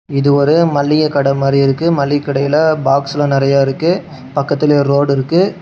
இது ஒரே மளிகை கடை மாறியிருக்கு மளிகைக்கடையில பாக்ஸ்ல நறைய இருக்கு பக்கத்துலயே ரோடிருக்கு .